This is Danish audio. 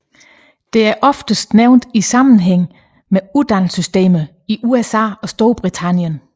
Det er oftest nævnt i sammenhæng med uddannelsessystemerne i USA og Storbritannien